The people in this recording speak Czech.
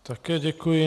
Také děkuji.